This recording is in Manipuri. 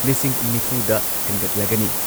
ꯂꯤꯁꯤꯡ ꯅꯤꯐꯨꯗ ꯍꯦꯟꯒꯠꯂꯒꯅꯤ꯫